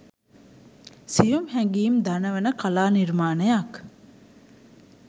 සියුම් හැඟීම් දනවන කලා නිර්මාණයක්